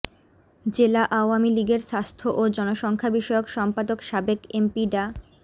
জেলা আওয়ামী লীগের স্বাস্থ্য ও জনসংখ্যা বিষয়ক সম্পাদক সাবেক এমপি ডা